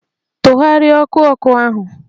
Tụgharịa ọkụ ọkụ ahụ!